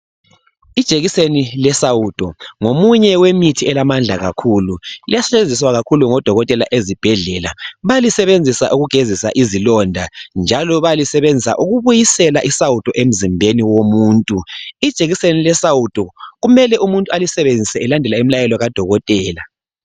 Ijekiseni lesawudo ngomunye wemithi elamandla kakhulu. Iyasetshenziswa kakhulu ngodokotela ezibhedlela balisebenzisa ukugezisa izilonda njalo balisebenzisa ukubuyisela isawudo emzimbeni womuntu. Ijekiseni lesawudo kumele umuntu alisebenzise elendela imlayelo kadokotela.